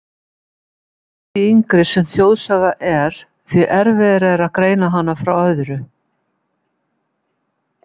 Því yngri sem þjóðsaga er, því erfiðara er að greina hana frá öðru.